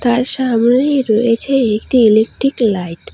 আর সামনেই রয়েছে একটি ইলেকটিক লাইট ।